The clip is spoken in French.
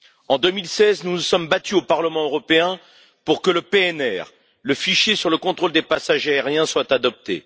En 2016, nous nous sommes battus au Parlement européen pour que le PNR, le fichier sur le contrôle des passagers aériens, soit adopté.